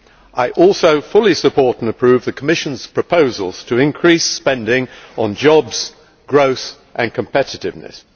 I also fully support and approve the Commission's proposals to increase spending on jobs, growth and competitiveness.